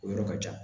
O yɔrɔ ka jan